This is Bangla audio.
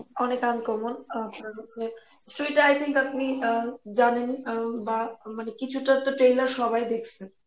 অনেক uncommon আপনার হচ্ছে আপনি আহ জানেন আউম বা মানে কিছুটাতো trailer সবাই দেখসে